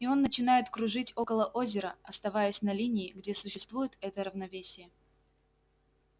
и он начинает кружить около озера оставаясь на линии где существует это равновесие